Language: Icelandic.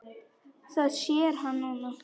Það sér hann núna.